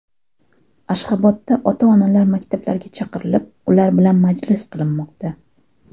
Ashxobodda ota-onalar maktablarga chaqirilib ular bilan majlis qilinmoqda .